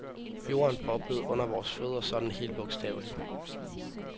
Jorden boblede under vores fødder sådan helt bogstaveligt.